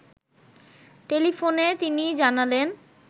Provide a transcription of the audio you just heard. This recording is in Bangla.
টেলিফোনে তিনি জানালেন